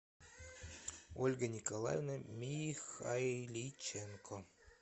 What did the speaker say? ольга николаевна михайличенко